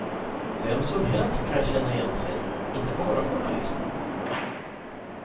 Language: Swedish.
Vem som helst kan känna igen sig, inte bara journalister.